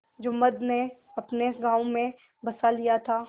जुम्मन ने अपने गाँव में बसा लिया था